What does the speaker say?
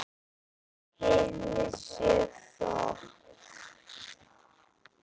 Henni sé þökk.